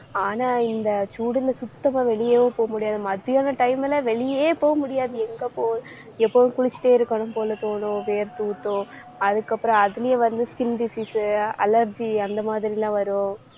ஆனா இந்த சூடுல சுத்தமா வெளியவும் போக முடியாது. மத்தியான time ல வெளியே போக முடியாது. எங்க எப்பவும், குளிச்சிட்டே இருக்கணும் போல தோணும் வேர்த்தூத்தும் அதுக்கப்புறம் அதுலயும் வந்து skin disease உ allergy அந்த மாதிரி எல்லாம் வரும்.